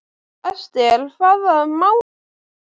Esther, hvaða mánaðardagur er í dag?